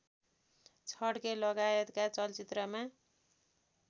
छड्के लगायतका चलचित्रमा